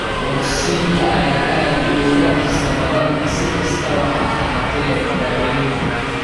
Bogsiinta ayaa aad uga dhakhso badan, si kastaba ha ahaatee, daawaynta.